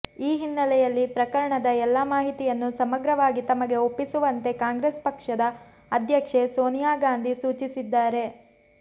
ಈ ಹಿನ್ನೆಲೆಯಲ್ಲಿ ಪ್ರಕರಣದ ಎಲ್ಲಾ ಮಾಹಿತಿಯನ್ನು ಸಮಗ್ರವಾಗಿ ತಮಗೆ ಒಪ್ಪಿಸುವಂತೆ ಕಾಂಗ್ರೆಸ್ ಪಕ್ಷದ ಅಧ್ಯಕ್ಷೆ ಸೋನಿಯಾಗಾಂಧಿ ಸೂಚಿಸಿದ್ದಾರೆ